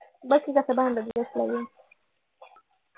बघ कि कसं भांडत बसलाय